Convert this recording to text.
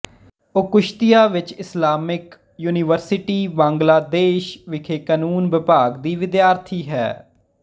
ਉਹ ਕੁਸ਼ਤੀਆ ਵਿਚ Islamic University Bangladesh ਵਿਖੇ ਕਾਨੂੰਨ ਵਿਭਾਗ ਦੀ ਵਿਦਿਆਰਥੀ ਹੈ